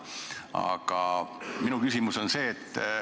Aga minu küsimus on see.